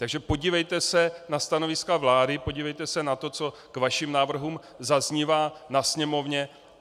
Takže podívejte se na stanoviska vlády, podívejte se na to, co k vašim návrhům zaznívá na Sněmovně.